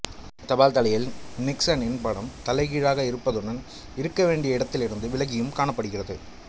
தபால்தலையில் நிக்சனின் படம் தலைகீழாக இருப்பதுடன் இருக்கவேண்டிய இடத்திலிருந்து விலகியும் காணப்படுகிறது